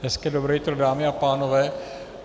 Hezké dobré jitro dámy a pánové.